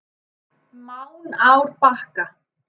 Mánárbakka